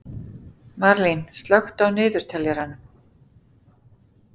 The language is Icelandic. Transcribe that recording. Marlín, slökktu á niðurteljaranum.